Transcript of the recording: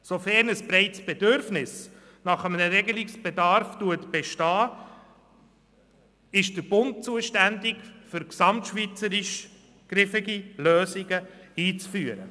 Sofern ein breites Bedürfnis nach einer Regelung besteht, ist der Bund dafür zuständig, für die gesamte Schweiz griffige Lösungen einzuführen.